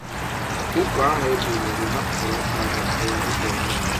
Uko ahu e buliri naputara oka anyi puo n'ide mmiri.